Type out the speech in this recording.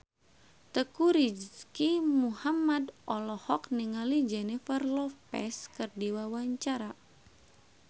Teuku Rizky Muhammad olohok ningali Jennifer Lopez keur diwawancara